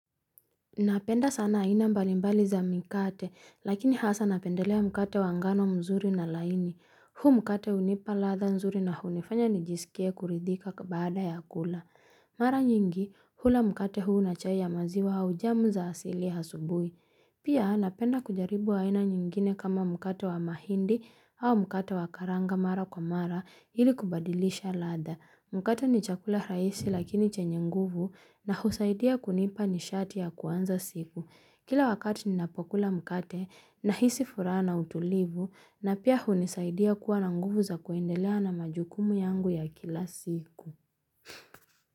Napenda sana aina mbalimbali za mikate, lakini hasa napendelea mkate wa ngano mzuri na laini. Huu mkate hunipa ladha nzuri na hunifanya nijisikie kuridhika baada ya kula. Mara nyingi, hula mkate huu na chai ya maziwa au jamu za asili asubuhi. Pia napenda kujaribu aina nyingine kama mkate wa mahindi au mkate wa karanga mara kwa mara ili kubadilisha ladha. Mkate ni chakula rahisi lakini chenye nguvu na husaidia kunipa nishati ya kuanza siku. Kila wakati ni napokula mkate na nahisi furaha utulivu na pia hunisaidia kuwa na nguvu za kuendelea na majukumu yangu ya kila siku.